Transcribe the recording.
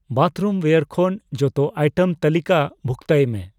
ᱵᱟᱛᱷᱨᱩᱢᱣᱭᱮᱨ ᱠᱷᱚᱱ ᱡᱚᱛᱚ ᱟᱭᱴᱮᱢ ᱛᱟᱹᱞᱤᱠᱟ ᱵᱷᱩᱠᱛᱚᱭ ᱢᱮ ᱾